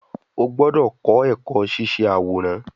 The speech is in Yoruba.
O gbọdọ kọ ẹkọ ṣiṣe aworan